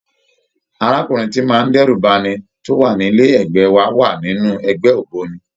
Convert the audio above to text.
Arákùnrin tíì ń má dẹ́rù ba'ni tó wà ní ilé ẹ̀gbẹ́ wa wà nínú ẹgbẹ́ ògbóni.